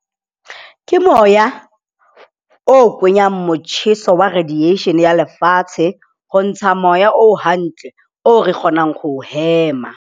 Ke moya o kwenyang motjheso wa radiation ya lefatshe. Ho ntsha moya o hantle, o re kgonang ho o hema.